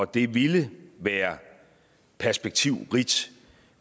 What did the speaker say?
det ville være perspektivrigt